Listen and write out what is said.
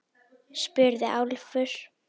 spurði Álfur.